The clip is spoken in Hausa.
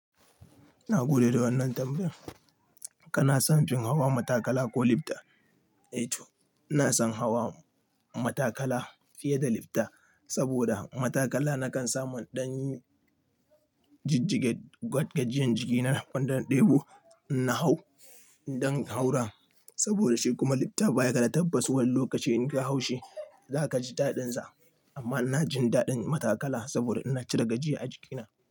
Na gode da wannan tambayar. Kana son fin hawa matakala ko lifta? Eh to, na san hawa matakala fiye da lifta saboda matakala na kan samu ɗan jijjige gwad gajiyan jiki na wanda na ɗebo ina hau indan haura. Saboda shi kuma lifta baya ga da tabbas Wani lokaci inka haushi za ka ji daɗin sa. Amma ina jin daɗin matakala saboda ina cire gajiya a jikina.